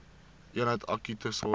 eenheid akute sorg